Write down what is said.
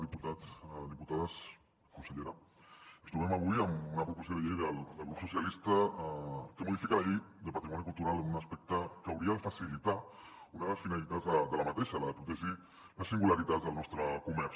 diputats diputades consellera ens trobem avui amb una proposició de llei del grup socialistes que modifica la llei de patrimoni cultural en un aspecte que hauria de facilitar una de les finalitats d’aquesta llei la de protegir les singularitats del nostre comerç